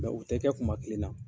u tɛ kɛ kuma kelen na.